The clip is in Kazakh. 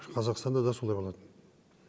қазақстанда да солай болатын